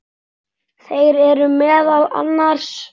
Þeir eru meðal annars